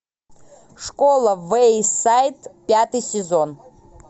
школа вэйсайд пятый сезон